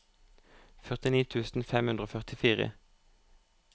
førtini tusen fem hundre og førtifire